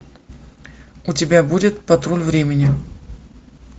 у тебя будет патруль времени